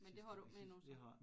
Men det har du ikke mere nu så